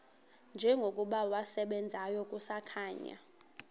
njengokuba wasebenzayo kusakhanya